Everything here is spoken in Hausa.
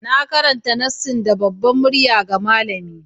Na karanta nassin da babbar murya ga malamina.